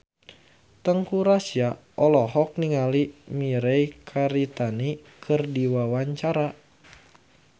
Teuku Rassya olohok ningali Mirei Kiritani keur diwawancara